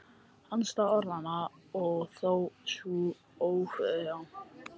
Andstæða orðanna og þó svo órjúfanlega tengdur ófullkomleika þeirra.